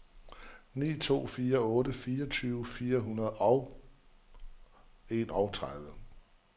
ni to fire otte fireogtyve fire hundrede og enogtredive